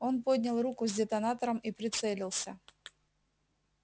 он поднял руку с детонатором и прицелился